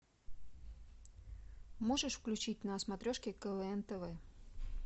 можешь включить на смотрешке квн тв